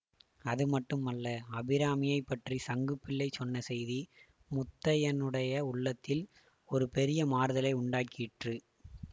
அது மட்டுமல்ல அபிராமியைப் பற்றி சங்குப்பிள்ளை சொன்ன செய்தி முத்தையனுடைய உள்ளத்தில் ஒரு பெரிய மாறுதலை உண்டாக்கிற்று